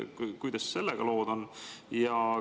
Kuidas sellega lood on?